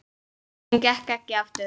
Hún gekk ekki aftur.